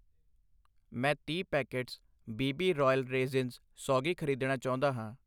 ਮੈਂ ਤੀਹ packets B B royal raisins ਸੌਗੀ ਖ਼ਰੀਦਣਾ ਚਾਹੁੰਦਾ ਹਾਂ